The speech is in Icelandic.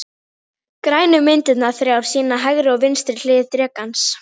Grænu myndirnar þrjár sýna hægri og vinstri hlið drekans.